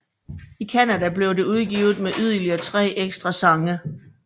I Canadablev det udgivet med yderligere tre ekstra sange